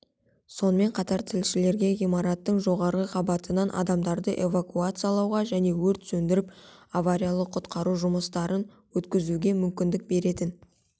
сонымен қатар тілшілерге ғимараттың жоғарғы қабатынан адамдарды эвакуациялауға және өрт сөндіріп авариялық-құтқару жұмыстарын өткізуге мүмкіндік беретін